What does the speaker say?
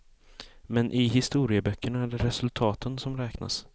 Men i historieböckerna är det resultaten som räknas.